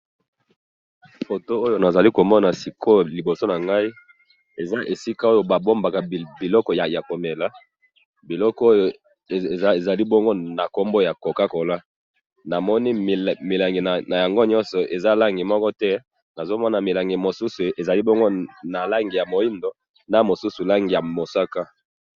Foto oyo nazali komona sikoyo liboso nangayi, eza esika oyo babombaka biloko yakomela, biloko oyo ezali bongo nakombo ya Coca-Cola, namoni milangi nayango nyoso eza langi mokote, nazomona milangi mosusu eza nalangi ya mwidu, na mosusu nalangi ya musaka.